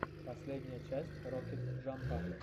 последняя часть рокет джампа